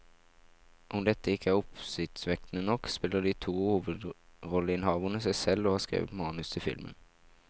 Om dette ikke er oppsiktsvekkende nok, spiller de to hovedrolleinnehaverne seg selv og har skrevet manus til filmen.